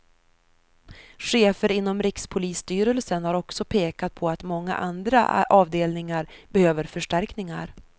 Chefer inom rikspolisstyrelsen har också pekat på att många andra avdelningar behöver förstärkningar.